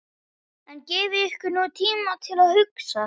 En gefið ykkur nú tíma til að hugsa.